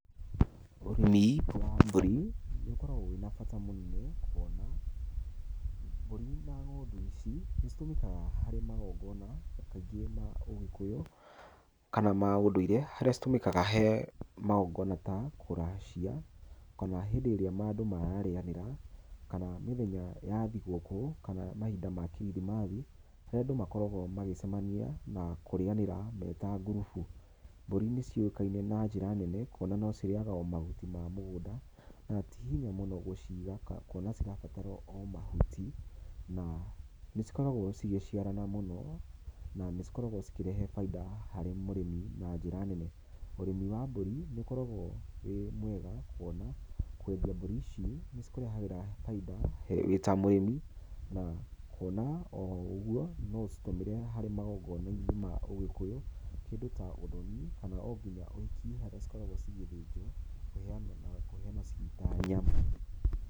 Urĩmi wa mbũri nĩ ũkoragwo wĩ na bata mũnene kuona mbũri na ng'ombe ici nĩ citũmĩkaga harĩ magongona kaingĩ ma ũgĩkũyũ kana ma ũndũire harĩa citũmĩkaga he magongona ta kũracia kana hĩndĩ irĩa andũ mara rĩanĩra kana mũthenya wa thigũkũ kana mahinda kirithimathi harĩa andũ makoragwo magĩcemania na kũrianĩra me ta ngurubu. Mbũri nĩ ciũĩkaine na njĩra nene kuona no cirĩaga mahuti ma mũgũnda na tĩ hinya mũno gũciga kuona cirabatara o mahuti na nĩ cikoragwo cigĩciarana mũno na nĩ cikoragwo cikĩrehe baida harĩ mũrĩmi na njĩra nene. Urĩmi wa mbũrĩ nĩ ũkoragwo wĩ mwega kuona kwendia mbũri ici nĩ cikũrehagĩra baida wĩ ta mũrĩmi na kuona o ũguo no ũcitũmĩre magongona inĩ ma ũgĩkũyũ kĩndũ ta ũthonĩ kana ngĩya ũhiki harĩa cikoragwo cigĩthĩnjwo na kũheanwo ciĩ ta nyama.